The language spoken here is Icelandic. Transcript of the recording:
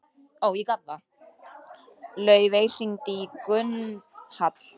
Laufey, hringdu í Gunnhall.